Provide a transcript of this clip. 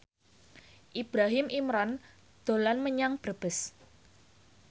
Ibrahim Imran dolan menyang Brebes